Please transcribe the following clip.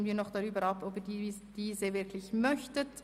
Nun stellen wir noch fest, ob Sie das wirklich möchten.